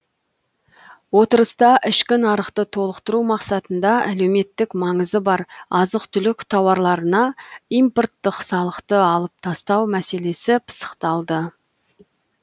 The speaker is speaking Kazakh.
отырыста ішкі нарықты толықтыру мақсатында әлеуметтік маңызы бар азық түлік тауарларына импорттық салықты алып тастау мәселесі пысықталды